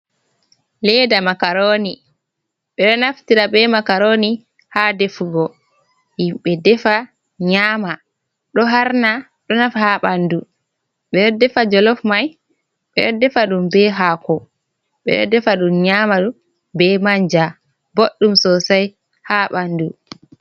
Leda makaroni. Ɓe ɗo naftira be makaroni ha defugo, himɓe defa nyama. Ɗo harna, ɗo nafa ha ɓandu. Ɓe ɗo defa jolof mai, ɓe ɗo defa ɗum be hako, ɓe ɗo defa ɗum nyama ɗum be manja. Boɗɗum sosai ha ɓandu.